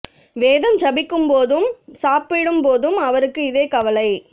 வேதம் ஜபிக்கும் போதும் சாப்பிடும் போதும் அவருக்கு இதே கவலை